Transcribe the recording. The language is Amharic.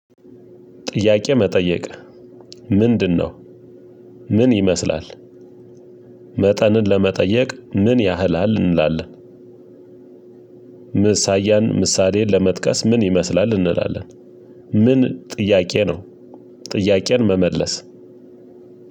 ጥያቄ መጠየቅ ምንድነው? ምን ይመስላል? መጠንን ለመጠየቅ ምን ያህላል እንላለን? ምሳያን ምሳሌን ለመጥቀስ ምን ይመስላል እንላለን። ምን ጥያቄ ነው። ጥያቄን መመለስ